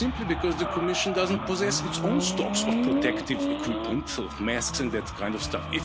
Why? Simply because the Commission doesn't possess its own stocks of protective equipment masks and that kind of stuff.